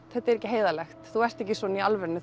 þetta er ekki heiðarlegt þú ert ekki svona í alvörunni